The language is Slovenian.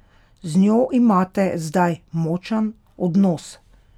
Z njo imate zdaj močan odnos?